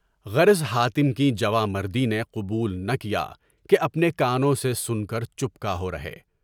غرض حاتم کی جوان مردی نے نہ قبول کیا کہ اپنے کانوں سے سن کر چپکا ہو رہے۔